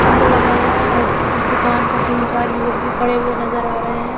खम्बा लगा हुआ है और इस दुकान पर तीन चार युवक भी खड़े हुए नज़र आ रहे है।